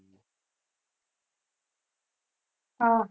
હા